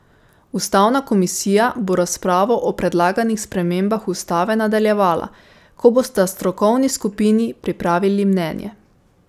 Ustavna komisija bo razpravo o predlaganih spremembah ustave nadaljevala, ko bosta strokovni skupini pripravili mnenje.